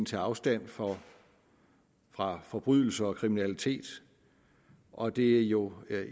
tage afstand fra fra forbrydelser og kriminalitet og det er jo